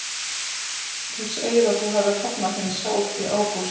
Þú segir að þú hafir hafnað þeim sjálf í ágúst?